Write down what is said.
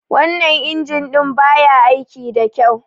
Wannan injin ɗin ba ya aiki da kyau.